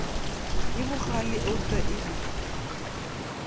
ye bogale eupša e be